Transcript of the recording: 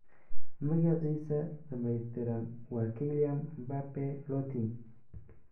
Magaciisa dhammaystiran waa Kylian Mbappé Lottin.